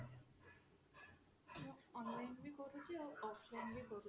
online ବି କରୁଛି offline ବି କରୁଛି